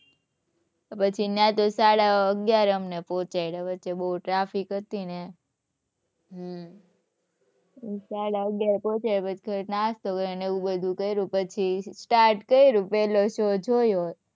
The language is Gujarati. પછી ત્યાં તો સાડા અગિયારે અમને પહોંચાડયા વચ્ચે બહુ traffic હતી ને. હમ્મ. સાડા અગિયારે પહોંચાડયા પછી અમે નાસ્તો કર્યો ને એવું બધુ કર્યું પછી start કર્યું પહલો show જોયો